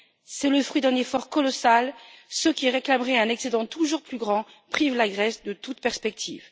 C'est le fruit d'un effort colossal. Ceux qui réclameraient un excédent toujours plus grand privent la Grèce de toute perspective.